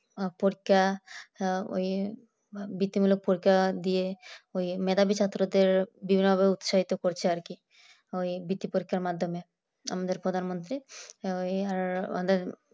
পরীক্ষা ওই বৃত্তিমূলক পরীক্ষা দিয়ে মেধাবী ছাত্রদের বিভিন্ন উৎসাহিত করছে আর কি ওই বৃত্তি পরীক্ষা পরীক্ষার মাধ্যমে আমাদের প্রধানমন্ত্রী ও ইয়ার আমাদের